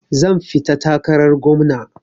Zan fita takarar gwamna.